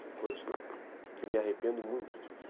São coisas que eu me arrependo muito disso.